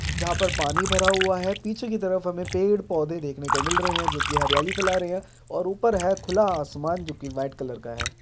जहाँ पर पानी भरा हुआ है पीछे की तरफ हमें पेड़ - पौधे देखने को मिल रहे हैं जो कि हरियाली फैला रहे हैं और ऊपर है खुला आसमान जोकि वाइट कलर का है।